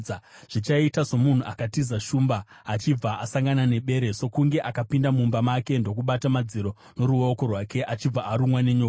Zvichaita somunhu akatiza shumba achibva asangana nebere, sokunge akapinda mumba make ndokubata madziro noruoko rwake achibva arumwa nenyoka.